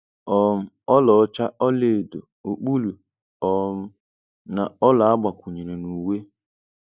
um Ọlaọcha, ọlaedo, okpulu um na ọla agbakwunyere n’uwe.